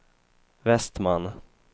Vestman